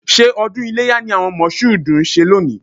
Ṣé ọdún iléyá ni àwọn Mọ̀ṣúùdù ń ṣe lónìí?